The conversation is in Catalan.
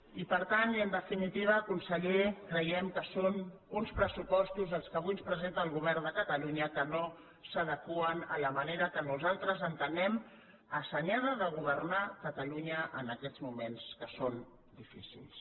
i per tant i en definitiva conseller creiem que són uns pressupostos els que avui ens presenta el govern de catalunya que no s’adeqüen a la manera que nosaltres entenem assenyada de governar catalunya en aquests moments que són difícils